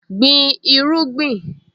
Gbin irúgbìn!